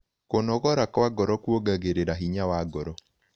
Kũnogora kwa ngoro kũongagĩrĩra hinya wa ngoro